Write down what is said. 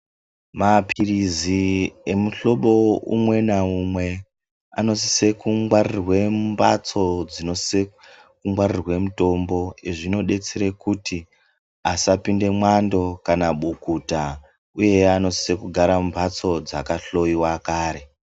Maphirizi emihlobo umwe naumwe anosise kungwarirwe mumhatso dzinosise kungwarirwe mitombo. Izvi zvinodetsera kuti asapinde mwando kana bukutsa uye anosise kugara mumhatso dzakahloyiwa kare.